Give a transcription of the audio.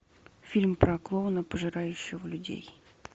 фильм про клоуна пожирающего людей